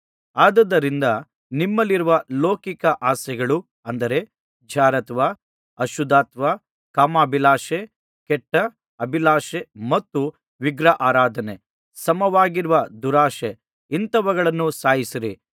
ಆದುದರಿಂದ ನಿಮ್ಮಲ್ಲಿರುವ ಲೌಕಿಕ ಆಸೆಗಳು ಅಂದರೆ ಜಾರತ್ವ ಅಶುದ್ಧತ್ವ ಕಾಮಾಭಿಲಾಷೆ ಕೆಟ್ಟ ಅಭಿಲಾಷೆ ಮತ್ತು ವಿಗ್ರಹಾರಾಧನೆಗೆ ಸಮವಾಗಿರುವ ದುರಾಶೆ ಇಂಥವುಗಳನ್ನು ಸಾಯಿಸಿರಿ